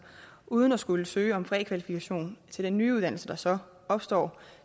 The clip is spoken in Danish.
uden at skulle søge om prækvalifikation til en ny uddannelse der så opstår